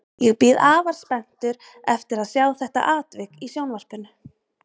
Ég bíð afar spenntur eftir að sjá þetta atvik í sjónvarpinu